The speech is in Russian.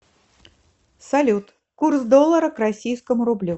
салют курс доллара к российскому рублю